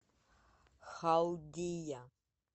халдия